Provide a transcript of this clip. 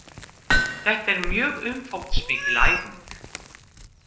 Þetta er mjög umfangsmikil æfing